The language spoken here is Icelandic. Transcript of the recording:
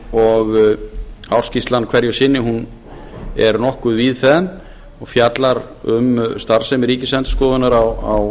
og ársskýrslan hverju sinni er nokkuð víðfeðm og fjallar um starfsemi ríkisendurskoðunar á